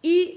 y